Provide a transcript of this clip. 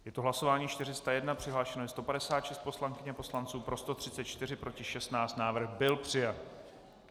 Je to hlasování 401, přihlášeno je 156 poslankyň a poslanců, pro 134, proti 16, návrh byl přijat.